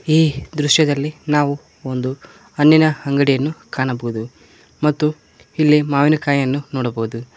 ಈ ದೃಶ್ಯದಲ್ಲಿ ನಾವು ಒಂದು ಹಣ್ಣಿನ ಅಂಗಡಿಯನ್ನು ಕಾಣಬಹುದು ಮತ್ತು ಇಲ್ಲಿ ಮಾವಿನ ಕಾಯಿಯನ್ನು ನೋಡಬಹುದು.